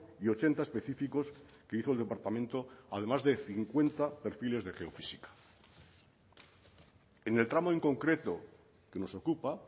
y ochenta específicos que hizo el departamento además de cincuenta perfiles de geofísica en el tramo en concreto que nos ocupa